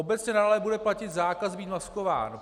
Obecně nadále bude platit zákaz být maskován.